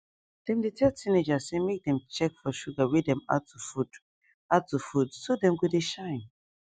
dem dey tell teenagers say make dem check for sugar wey dem add to food add to food so dem go dey shine